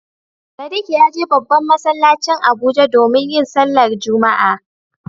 Sadiq ya je babban masallacin Abuja domin yin sallar Juma'a.